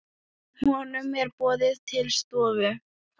Honum er boðið til stofu.